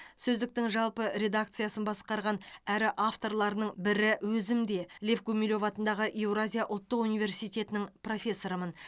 сөздіктің жалпы редакциясын басқарған әрі авторларының бірі өзім де лев гумилев атындағы еуразия ұлттық университетінің профессорымын